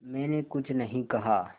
मैंने कुछ नहीं कहा